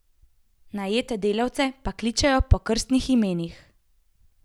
Najete delavce pa kličejo po krstnih imenih.